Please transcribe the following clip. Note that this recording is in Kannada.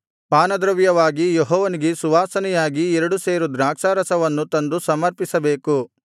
ಪಾನದ್ರವ್ಯವಾಗಿ ಯೆಹೋವನಿಗೆ ಸುವಾಸನೆಯಾಗಿ ಎರಡು ಸೇರು ದ್ರಾಕ್ಷಾರಸವನ್ನೂ ತಂದು ಸಮರ್ಪಿಸಬೇಕು